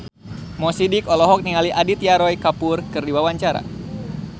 Mo Sidik olohok ningali Aditya Roy Kapoor keur diwawancara